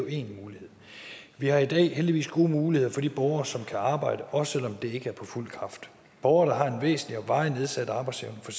én mulighed vi har i dag heldigvis gode muligheder for de borgere som kan arbejde også selv om det ikke er på fuld kraft borgere der har en væsentlig og varig nedsat arbejdsevne for